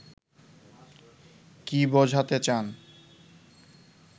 কী বোঝাতে চান